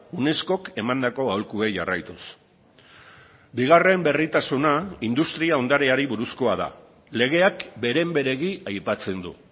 unescok emandako aholkuei jarraituz bigarren berritasuna industria ondareari buruzkoa da legeak beren beregi aipatzen du